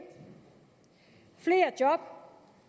flere job